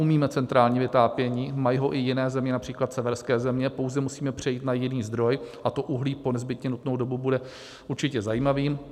Umíme centrální vytápění, mají ho i jiné země, například severské země, pouze musíme přejít na jiný zdroj, a to uhlí po nezbytně nutnou dobu bude určitě zajímavým.